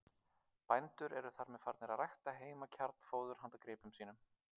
Bændur eru þar með farnir að rækta heima kjarnfóður handa gripum sínum.